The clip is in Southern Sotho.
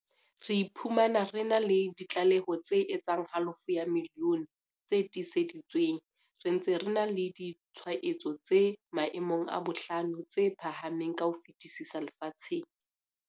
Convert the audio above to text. Re iphumana re na le di tlaleho tse etsang halofo ya milione tse tiiseditsweng, re ntse re na le ditshwaetso tse maemong a bohlano tse phahameng ka ho fetisisa lefatsheng.